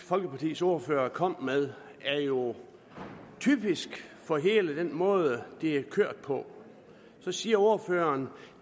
folkepartis ordfører kom med er jo typisk for hele den måde det er kørt på så siger ordføreren